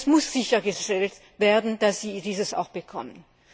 Es muss sichergestellt werden, dass sie dieses auch bekommen.